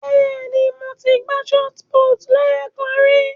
Bẹ́ẹ̀ ni, mo ti gbá ṣọọti púútù lẹ́ẹ̀kan ri.